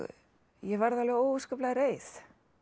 ég varð alveg óskaplega reið